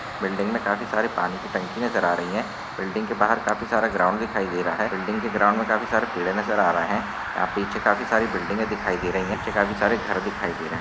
Building मे काफी सारे पानी के टंकी नजर आ रही है। बिल्डिंग के बाहर काफी सारा ग्राउंड दिखाई दे रहा है। बिल्डिंग के ग्राउंड मे काफी सारे पेड़े नजर आ रहे है यहा पीछे काफी सारे बिल्डिंगे दिखाई दे रही है पीछे काफी सारे घर दिखाई दे रहे है।